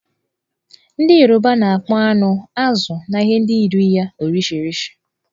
Ndị Yoruba na-akpọ anụ, azụ̀ na ihe ndị yiri ya 'Orishirishi'.